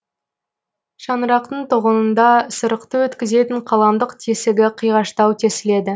шаңырақтың тоғынында сырықты өткізетін қаламдық тесігі қиғаштау тесіледі